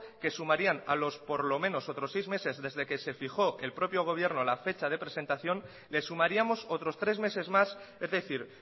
que sumarían por lo menos otros seis meses desde que se fijó el propio gobierno la fecha de presentación le sumaríamos otros tres meses más es decir